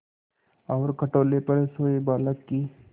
और खटोले पर सोए बालक की